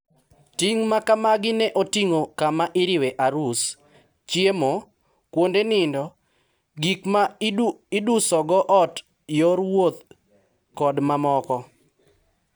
Ting` makamagi ne oting`o kama iriwe arus, chiemo, kuonde nindo, gik ma idusogo ot yor wuoth kod mamoko.